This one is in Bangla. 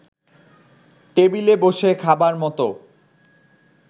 টেবিলে বসে খাবার মতো